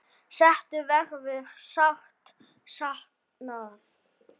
Settu verður sárt saknað.